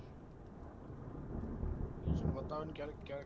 patient બતાવે ને ક્યારેક ક્યારેક